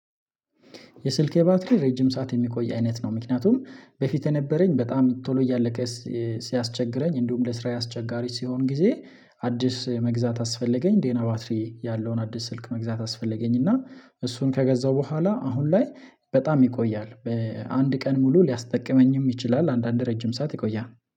የስልኬ ባትሪ ረጅም ሰዓት የሚቆይ አይነት ነው። ምክንያቱም በፊት የነበረኝ በጣም ቶሎ እያለቀ ሲያስቸግረኝ እንዲሁም ለስራዬ አስቸጋሪ ሲሆን ጊዜ አዲስ መግዛት አስፈለገኝ። ደህና ባትሪ ያለውን አዲስ ስልክ መግዛት አስፈለገኝና እሱን ከገዛሁ ቦኋላ አሁን ላይ በጣም ይቆያል በአንድ ቀን ሙሉ ሊያስጠቅመኝም ይችላል። አንዳንድ ረጅም ሰዓት ይቆያል